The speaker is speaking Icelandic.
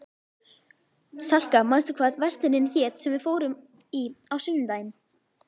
Salka, manstu hvað verslunin hét sem við fórum í á sunnudaginn?